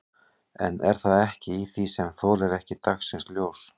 En það er ekkert í því sem þolir ekki dagsins ljós?